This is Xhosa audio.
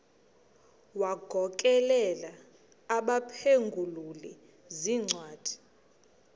wagokelela abaphengululi zincwadi